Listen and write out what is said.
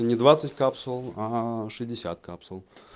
это ни двадцать капсул а шестьдесят капсул